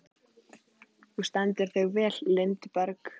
Þú stendur þig vel, Lindberg!